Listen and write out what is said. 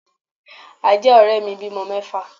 Ajá òré mi bímọ mẹ́fà